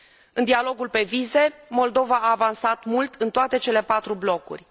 În dialogul pe vize, Moldova a avansat mult în toate cele patru blocuri.